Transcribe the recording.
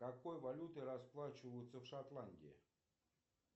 какой валютой расплачиваются в шотландии